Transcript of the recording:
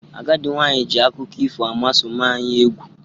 Agadi nwanyi ji akuko ifo amoosu maa anyi egwu